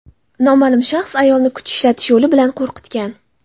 Noma’lum shaxs ayolni kuch ishlatish yo‘li bilan qo‘rqitgan.